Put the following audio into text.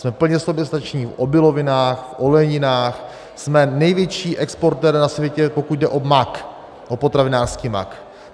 Jsme plně soběstační v obilovinách, v olejninách, jsme největší exportér na světě, pokud jde o mák, o potravinářský mák.